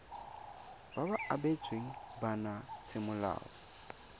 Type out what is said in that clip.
ba ba abetsweng bana semolao